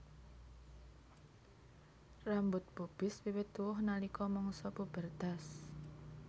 Rambut pubis wiwit tuwuh nalika mangsa pubertas